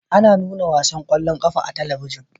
Ana nuna ƙwallon ƙafa a talabijin